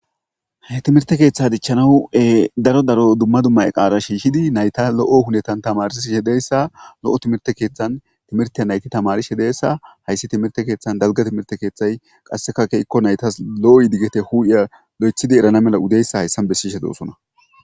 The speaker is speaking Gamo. he timirte keeththa dichchanawue daro daro dumma dumma qaara shiishidi nayta lo7o hunetan tamari shedeyssa lo7o timirte keeththan timirte nayti tamarishe deyssa hayssi timirte keeththan dalga timirte keeththay qasseka keyikko naytas lo7o yidiggete huu7iya lo7echidi erana mela udeyssa hayssan bessishe doosona